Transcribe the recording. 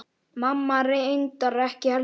Mamma reyndar ekki heldur.